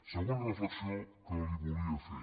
segona reflexió que li volia fer